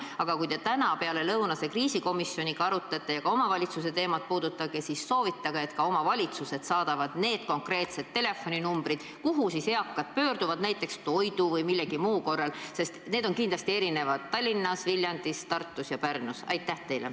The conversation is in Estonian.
Aga kui te täna pealelõunase kriisikomisjoniga seda arutate ja omavalitsuste teemat puudutate, siis soovitage, et omavalitsused saadaksid ka need konkreetsed telefoninumbrid, kuhu eakad saaksid helistada näiteks toidu hankimise või millegi muu korral, sest need on Tallinnas, Viljandis, Tartus ja Pärnus kindlasti erinevad.